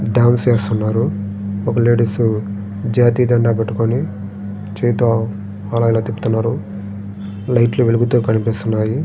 Dance చేస్తున్నారు. Ladies చేతుల్లోని జాతీయ జెండా పెట్టుకొని చేతో అలా అలా తిప్పుతున్నారు. లైట్ లు వెలుగుతూ కనిపిస్తున్నాయి .